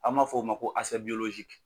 An m'a fɔ o ma ko